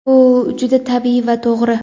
bu juda tabiiy va to‘g‘ri.